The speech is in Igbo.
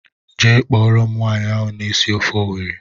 Jee kpọrọ m nwaanyị ahụ na-esi ofe Owerri!!!!